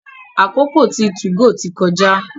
àkókò tí 2go tí kọjá.